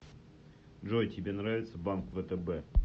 джой тебе нравится банк втб